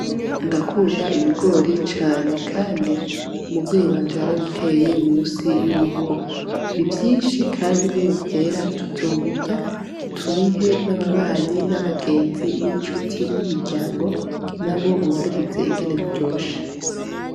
Ndakunda ibigori cane kandi umuvyeyi wanje yarabiteye musi y'urugo. Ni vyinshi kandi niyo vyera tuzobirya, tubihe n'ababanyi n'abagenzi n'incuti n'imiryango nabo bumvirize ingene biryoshe.